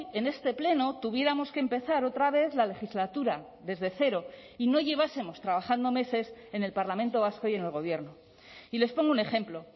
en este pleno tuviéramos que empezar otra vez la legislatura desde cero y no llevásemos trabajando meses en el parlamento vasco y en el gobierno y les pongo un ejemplo